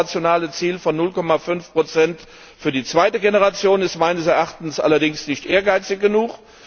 Das operationale Ziel von 0,5 für die zweite Generation ist meines Erachtens allerdings nicht ehrgeizig genug.